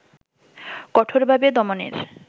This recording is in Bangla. কঠোরভাবে দমনের